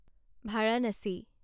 Varanasi